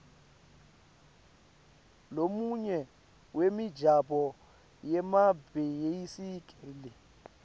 lomunye wemijaho yemabhayisikili